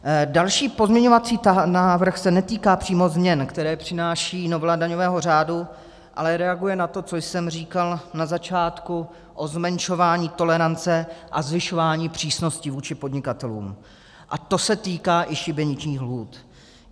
Další pozměňovací návrh se netýká přímo změn, které přináší novela daňového řádu, ale reaguje na to, co jsem říkal na začátku o zmenšování tolerance a zvyšování přísnosti vůči podnikatelům, a to se týká i šibeničních lhůt.